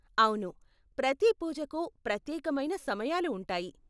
అవును, ప్రతి పూజకు ప్రత్యేకమైన సమయాలు ఉంటాయి.